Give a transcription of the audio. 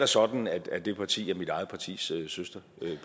sådan at det parti er mit eget partis søsterparti